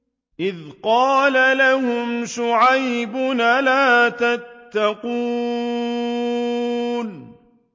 إِذْ قَالَ لَهُمْ شُعَيْبٌ أَلَا تَتَّقُونَ